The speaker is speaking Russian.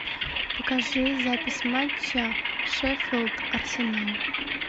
покажи запись матча шеффилд арсенал